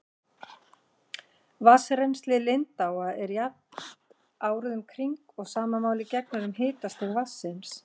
Vatnsrennsli lindáa er jafnt árið um kring og sama máli gegnir um hitastig vatnsins.